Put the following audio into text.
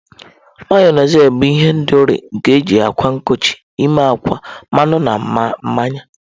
Mayonezi bụ ihendori nke eji akwa nkochi ime akwa, mmanụ na mmanya